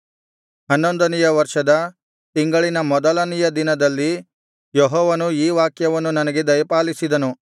ಹನ್ನೊಂದನೆಯ ವರ್ಷದ ತಿಂಗಳಿನ ಮೊದಲನೆಯ ದಿನದಲ್ಲಿ ಯೆಹೋವನು ಈ ವಾಕ್ಯವನ್ನು ನನಗೆ ದಯಪಾಲಿಸಿದನು